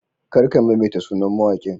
Kar ka maimaita sunan mawaƙin.